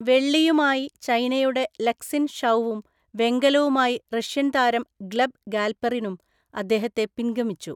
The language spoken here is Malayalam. വെള്ളിയുമായി ചൈനയുടെ ലക്‌സിൻ ഷൗവും വെങ്കലവുമായി റഷ്യൻ താരം ഗ്ലെബ് ഗാൽപെറിനും അദ്ദേഹത്തെ പിൻഗമിച്ചു.